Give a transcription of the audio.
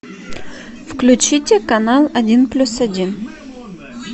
включите канал один плюс один